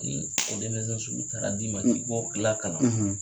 Ni o denmisɛn sugu taara d'i ma k'i bo lakalan